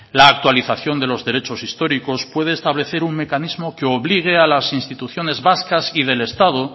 la actualización de los derechos históricos puede establecer un mecanismo que obligue a las instituciones vascas y del estado